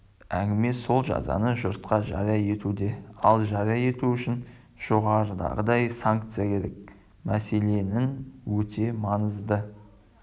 әңгіме сол жазаны жұртқа жария етуде ал жария ету үшін жоғарыдағыдай санкция керек мәселенің өте маңызды